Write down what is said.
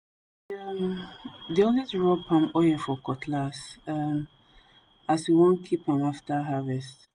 we um dey alway rub palm oil for cutlass um as we want keep am after harvest